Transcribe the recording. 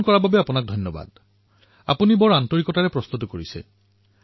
মোৰ প্ৰচেষ্টা এটাই যে মন কী বাতৰ পূৰ্বেই অধিকতম ৰূপত পত্ৰ আৰু মন্তব্য মই নিজে পঢ়োঁ